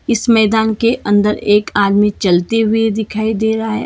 इस मैदान के अंदर एक आदमी चलते हुए दिखाई दे रहा है।